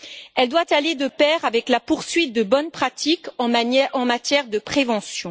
Elle doit aller de pair avec la poursuite de bonnes pratiques en matière de prévention.